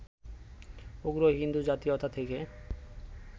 উগ্র হিন্দু জাতীয়তা থেকে